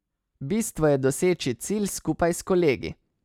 Bistvo je doseči cilj skupaj s kolegi.